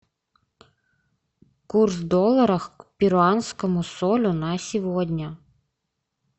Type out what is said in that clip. курс доллара к перуанскому солю на сегодня